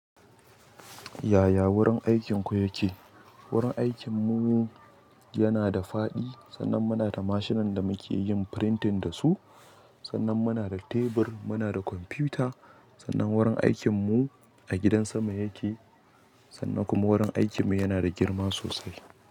Yaya wurin aikinku yake? Wurin aikinmu yana da faɗi, sannan muna da mashinan da muke yin printing da su, sannan muna da tebur, muna da kwamfuta, sannan wurin aikinmu a gidan sama yake sannan kuma wurin aikinmu yana da girma sosai.